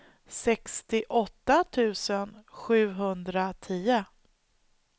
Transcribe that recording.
sextioåtta tusen sjuhundratio